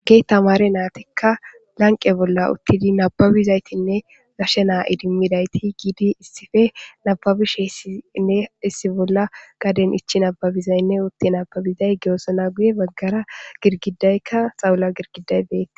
Gee tamare naatekka lanqe bolla uttidi nababizaytinne gashe naa idimmidayti giidi issife nababisheessinne issi bolla gaden ichi nababizaynne utte nababizay geosona guye baggara girgidaykka xawula girgidaybee